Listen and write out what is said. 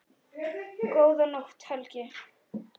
Góða nótt, Helgi.